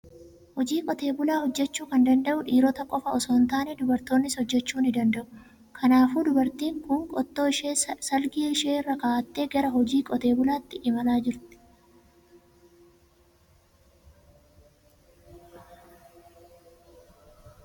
Hojii qotee bulaa hojjechuu kan danda'u dhiirota qofaa osoo hin taane, dubartoonnis hojjechuu ni danda'u. Kanaafuu dubartiin kun qottoo ishee salgii ishee irra kaa'attee gara hojii qotee bulaatti imalaa jirti.